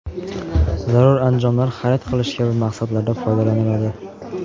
zarur anjomlar xarid qilish kabi maqsadlarda foydalaniladi.